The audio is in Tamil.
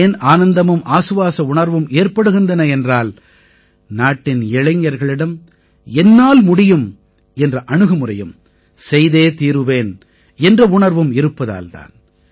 ஏன் ஆனந்தமும் ஆசுவாச உணர்வும் ஏற்படுகின்றன என்றால் நாட்டின் இளைஞர்களிடம் என்னால் முடியும் என்ற அணுகுமுறையும் செய்தே தீருவேன் என்ற உணர்வும் இருப்பதால் தான்